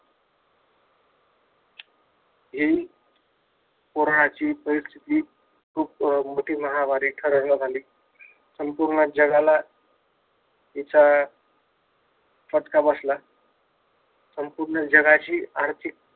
हि कोरोनाची खुप मोठी महामारी ठरावन्यात आली संपूर्ण जगाला हिचा फटका बसला. संपूर्ण जगाची आर्थिक